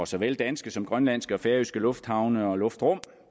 såvel danske som grønlandske og færøske lufthavne og luftrum